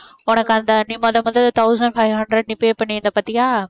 உனக்கு அந்த நீ முத முத thousand five hundred நீ pay பண்ணி இருந்த பார்த்தியா